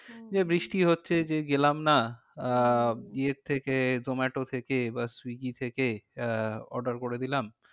হম যে বৃষ্টি হচ্ছে যে গেলাম না আহ ইয়ের থেকে জোমাটো বা সুইগী থেকে আহ order করে দিলাম।